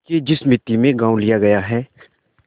देखिए जिस मिती में गॉँव लिया गया है